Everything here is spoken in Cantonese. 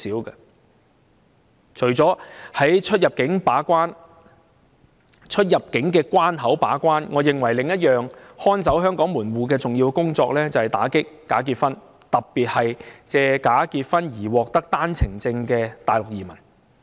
而除了在出入境口岸把關外，我認為另一項看守香港門戶的重要工作，就是打擊假結婚，特別是藉假結婚獲取單程證的大陸移民。